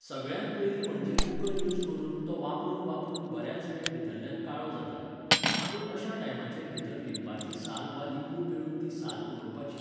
सगळ्यांत पयलीं म्हणजे कुकर युझ करून, तो वापरून वापरून बऱ्याच वेळ भितरल्यान काळो जाता. मागीर अश्या टायमाचेर भितर लिंबाची साल वा लिंबू पिळून ती साल उडोवपाची